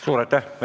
Suur aitäh!